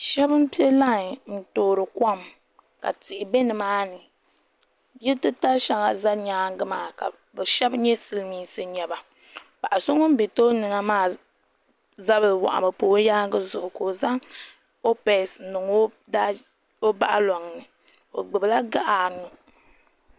Sheba m piɛ lai n toori kom ka tihi be nimaani yili titali sheŋa za nyaanga maa ka sheba nyɛ silimiinsi n nyɛba paɣa so ŋun be tooni ŋɔ maa zabri waɣami m pa o yaanga zuɣu ka o zaŋ o poochi niŋ o boɣuloŋni o gbibila gaɣa anu.